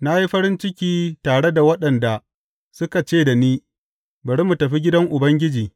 Na yi farin ciki tare da waɗanda suka ce da ni, Bari mu tafi gidan Ubangiji.